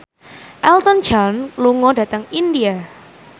Elton John lunga dhateng India